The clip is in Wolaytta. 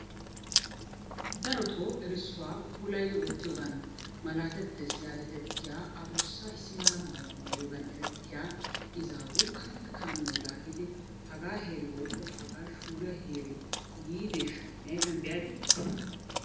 Daroto erissuwa puulayidi ootiyogan malaatettes yaagetettiya adussa issi mala mayuwa mayiyogan erettiya izaawu karetta kaamiya laaggidi hagaa heeri woyikko hagaa shuuriya heeri yiideeshsha? ne ayifiyan be'adii?